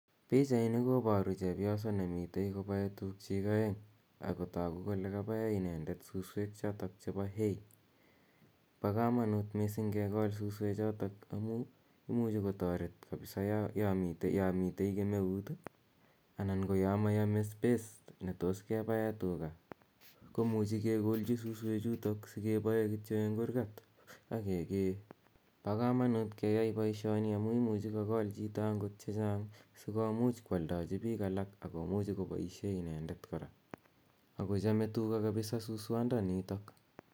Pichaini koparu chepyoso ne mitei kopae tugchik aeng' ako tagu kole kapae inendet suswek chotok chepo hay. Pa kamanut missing' kekol suswechotok amu imuchi kotaret kapsa ya mitei kemeut anan ko ya mayame space ne tos kepae tuga ko muchi kekolchi suswechutok asikepae kityo eng' kurgat ak kekee. Pa kamanut keyai poishoni amu imuchi kokol chito agot che chang' si komuch koaldachi piik alak ak komuch kopaishe inendet kora. Ako chame tuga missing' suswandanitok.